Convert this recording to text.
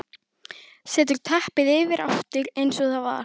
Setur teppið yfir aftur eins og það var.